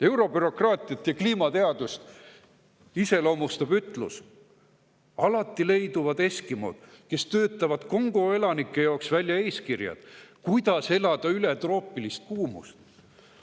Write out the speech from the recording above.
Eurobürokraatiat ja kliimateadust iseloomustab ütlus: alati leiduvad eskimod, kes töötavad Kongo elanike jaoks välja eeskirjad, kuidas elada üle troopilist kuumust.